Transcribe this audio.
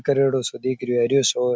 करेडो सो दिख रहे है हरो सो --